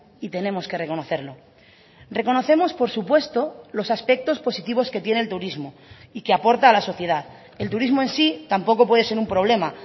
y tenemos que reconocerlo reconocemos por supuesto los aspectos positivos que tiene el turismo y que aporta a la sociedad el turismo en sí tampoco puede ser un problema